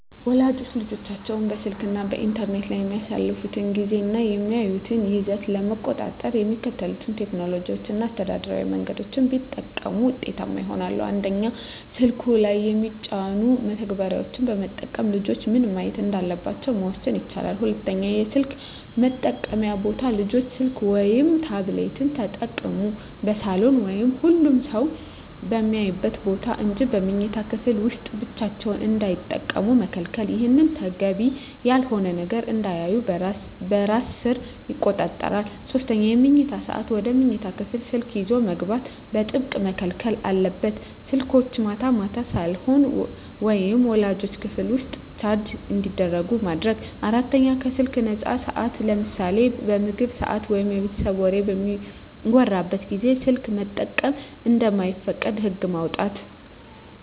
ወላጆች ልጆቻቸው በስልክ እና በኢንተርኔት ላይ የሚያሳልፉትን ጊዜ እና የሚያዩትን ይዘት ለመቆጣጠር የሚከተሉትን ቴክኖሎጂያዊ እና አስተዳደራዊ መንገዶች ቢጠቀሙ ውጤታማ ይሆናል፦ 1)ስልኩ ላይ የሚጫኑ መተግበሪያዎችን በመጠቀም ልጆች ምን ማየት እንዳለባቸው መወሰን ይቻላል። 2)የስልክ መጠቀምያ ቦታ: ልጆች ስልክ ወይም ታብሌት ሲጠቀሙ በሳሎን ወይም ሁሉም ሰው በሚያይበት ቦታ እንጂ በመኝታ ክፍል ውስጥ ብቻቸውን እንዳይጠቀሙ መከልከል። ይህ ተገቢ ያልሆነ ነገር እንዳያዩ በራስ ሰር ይቆጣጠራል። 3)የመኝታ ሰዓት: ወደ መኝታ ክፍል ስልክ ይዞ መግባት በጥብቅ መከልከል አለበት። ስልኮች ማታ ማታ ሳሎን ወይም ወላጆች ክፍል ውስጥ ቻርጅ እንዲደረጉ ማድረግ። 4)ከስልክ ነፃ ሰዓታት: ለምሳሌ በምግብ ሰዓት ወይም የቤተሰብ ወሬ በሚወራበት ጊዜ ስልክ መጠቀም እንደማይፈቀድ ህግ ማውጣት።